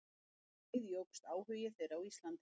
Um leið jókst áhugi þeirra á Íslandi.